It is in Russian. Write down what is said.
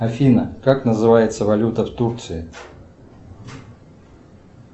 афина как называется валюта в турции